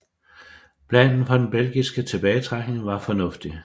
Planen for den belgiske tilbagetrækning var fornuftig